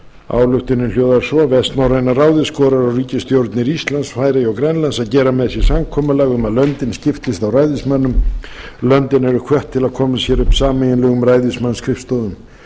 ályktunin ráðsins hljóðar svo vestnorræna ráðið skorar á ríkisstjórnir íslands færeyja og grænlands að gera með sér samkomulag um að löndin skiptist á ræðismönnum löndin eru hvött til að koma sér upp sameiginlegum ræðismannsskrifstofum